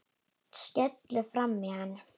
Skellur framan í hann.